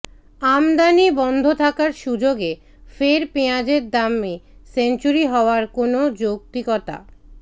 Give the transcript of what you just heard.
আমদানি বন্ধ থাকার সুযোগে ফের পেঁয়াজের দামে সেঞ্চুরি হওয়ার কোনো যৌক্তিকতা